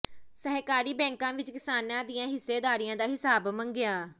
ਸਹਿਕਾਰੀ ਬੈਂਕਾਂ ਵਿੱਚ ਕਿਸਾਨਾਂ ਦੀਆਂ ਹਿੱਸੇਦਾਰੀਆਂ ਦਾ ਹਿਸਾਬ ਮੰਗਿਆ